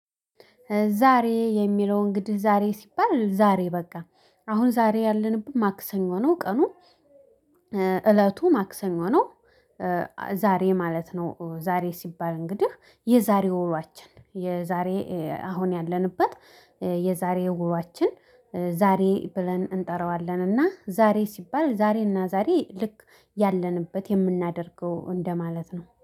ዛሬ የሚለውን እንግዲህ ዛሬ ሲባል ዛሬ በቃ አሁን ዛሬ ያለንበት ማክሰኞ ነው ቀኑ እለቱ ማክሰኞ ነው። ዛሬ ማለት ነው። ዛሬ ሲባል እንግዲህ የዛሬ ውሏችን የዛሬ አሁን ያለንበት የዛሬ ወሯችን ዛሬ ብለን እንጠራዋለን። እና ዛሬ ሲባል ዛሬ እና ዛሬ ልክ ያለንበት የምናደርገው እንደማለት ነው